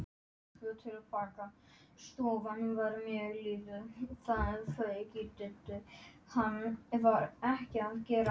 Sumarbústaðurinn kom nú í ljós í allri sinni dýrð.